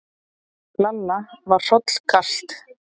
Lalla var hrollkalt.